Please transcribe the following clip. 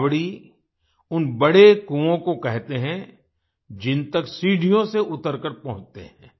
बावड़ी उन बड़े कुओं को कहते हैं जिन तक सीढ़ियों से उतरकर पहुँचते हैं